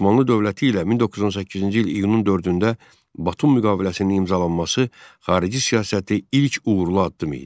Osmanlı dövləti ilə 1918-ci il iyunun 4-də Batum müqaviləsinin imzalanması xarici siyasəti ilk uğurlu addım idi.